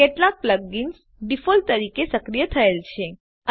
કેટલાક plugins default રીતે સક્રિય થયેલ છે